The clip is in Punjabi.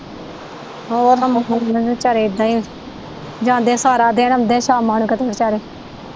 ਹੋਰ ਵਿਚਾਰੇ ਇਹਦਾ ਈ ਜਾਂਦੇ ਸਾਰਾ ਦਿਨ ਆਉਂਦੇ ਸ਼ਾਮਾਂ ਨੂੰ ਕਿਤੇ ਵਿਚਾਰੇ।